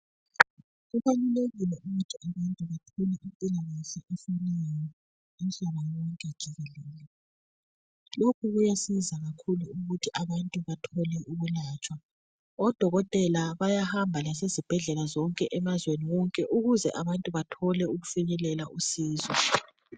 Kubalulekile ukuthi abantu bathole impilakahke, umhlaba wonke jikelele. Lokhu kuyasiza kakhulu ukuthi abantu bathole ukwelatshwa. Odokoteka bayahamba lasezibhedlela zonke, emazweni wonke. Ukuze abantu bathole usizo..